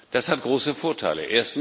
Das hat große Vorteile.